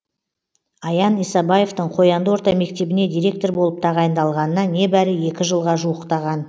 аян исабаевтың қоянды орта мектебіне директор болып тағайындалғанына небәрі екі жылға жуықтаған